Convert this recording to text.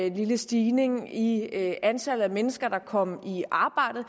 en lille stigning i antallet af mennesker der kom i arbejde